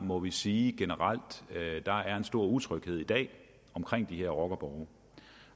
må sige generelt at der er en stor utryghed i dag omkring de her rockerborge